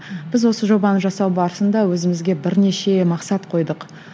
біз осы жобаны жасау барысында өзімізге бірнеше мақсат қойдық